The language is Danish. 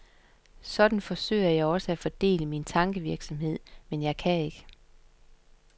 Sådan forsøger jeg også at fordele min tankevirksomhed, men jeg kan ikke.